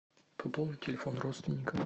пополнить телефон родственника